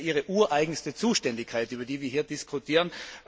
Es ist ja Ihre ureigenste Zuständigkeit, über die wir hier diskutieren.